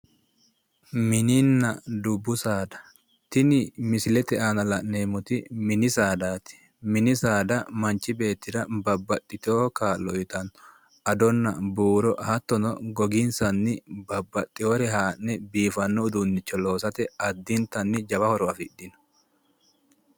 Mininna dubbu saada, tini misilete aana la'neemmoti mini saadati mini saada manchi beetira babbaxitino kaa'lo uyittano buuro ,ado, hattono maalinsa aanini goga haa'ne babbaxinore loosate lowo horo afidhino